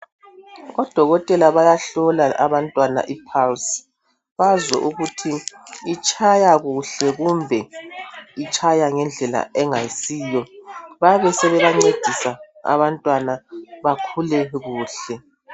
Odokotela bayahlola abantwana ipulse bazwe ukuthi itshaya kuhle kumbe itshaya ngendlela engayisiyo. Bayabe sebebancedisa abantwana bakhule kuhle.